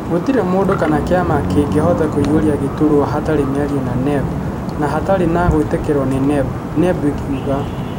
Gũtirĩ mũndũ kana kĩama kĩngĩhota kũiyũria gĩtũrwa hatarĩ mĩario na NEB na hatarĩ gũĩtĩkĩrio nĩ NEB, NEB ĩkiuga.